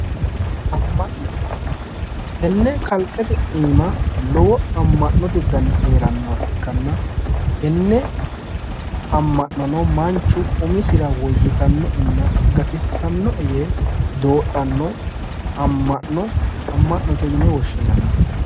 Tenne kalqete iimma lowo amma'noote dani heerannoha ikkanna tenne amma'nono manchu umisira woyyitannoena gatissannoe yee doodhanno amma'no amma'note yine woshshinanni